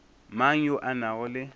mang yo a nago le